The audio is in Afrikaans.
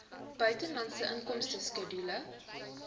buitelandse inkomste skedule